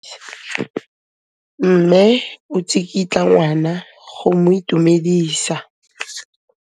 Mme o tsikitla ngwana go mo itumedisa.